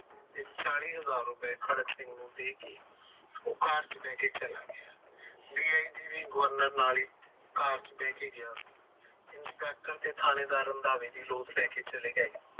ਤੇ ਚਾਲੀ ਹਜਾਰ ਰੁਪਏ ਖੜਕ ਸਿੰਘ ਨੂੰ ਦੇ ਕੇ ਉਹ car ਚ ਬਾਈ ਕੇ ਚਲਾ ਗਿਆ governor car ਚ ਬਾਈ ਕੇ ਗਯਾ inspector ਤੇ ਥਾਣੇਦਾਰ ਰੰਧਾਵੇ ਤੇ ਲੋਟ ਲੈਕੇ ਚਲੇ ਗਏ